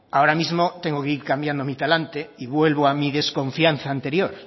ahora mismo tengo que ir cambiando mi talante y vuelvo a mi desconfianza anterior